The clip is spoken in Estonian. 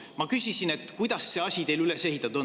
Ma küsisin, kuidas see asi teil üles ehitatud on.